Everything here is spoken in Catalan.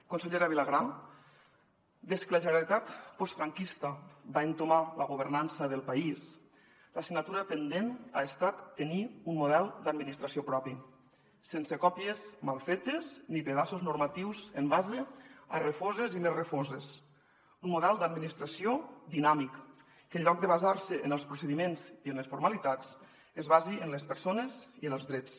consellera vilagrà des que la generalitat postfranquista va entomar la governança del país l’assignatura pendent ha estat tenir un model d’administració propi sense còpies mal fetes ni pedaços normatius en base a refoses i més refoses un model d’administració dinàmic que en lloc de basar se en els procediments i en les formalitats es basi en les persones i en els drets